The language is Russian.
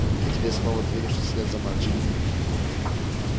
а теперь снова двинувшись вслед за мальчиком